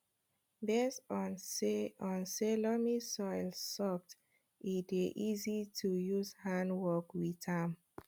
based on say on say loamy soil soft e dey easy to use hand work with am